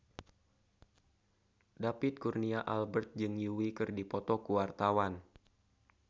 David Kurnia Albert jeung Yui keur dipoto ku wartawan